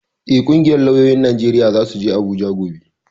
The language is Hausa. Eh, ƙungiyar lauyoyin Najeriya zasu je Abuja gobe